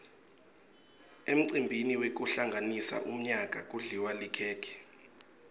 emcimbini wekuhlanganisa umyaka kudliwa likhekhe